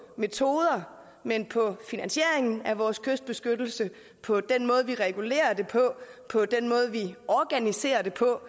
metoder men på finansieringen af vores kystbeskyttelse på den måde vi regulerer det på på den måde vi organiserer det på